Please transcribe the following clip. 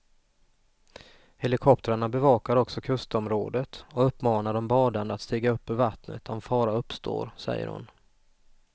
Helikoptrarna bevakar också kustområdet och uppmanar de badande att stiga upp ur vattnet om fara uppstår, säger hon.